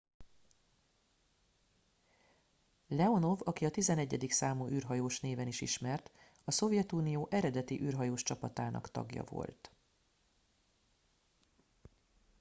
"leonov aki a "11. számú űrhajós" néven is ismert a szovjetunió eredeti űrhajós csapatának tagja volt.